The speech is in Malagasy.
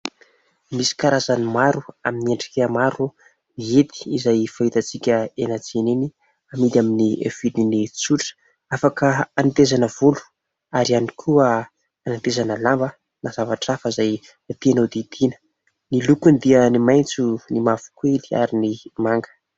Misy karazany maro, amin'ny endrika maro ny hety izay fahitantsika eny an-tsena eny, amidy amin'ny vidiny tsotra : afaka hanetezana volo ary ihany koa hanatezana lamba na zavatra hafa izay tiana ho didiana. Ny lokony dia ny maitso, ny mavokoly, ary ny manga.